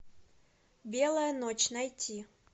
белая ночь найти